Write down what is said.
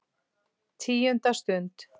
TÍUNDA STUND